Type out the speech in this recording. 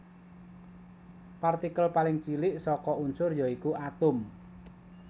Partikel paling cilik saka unsur ya iku atom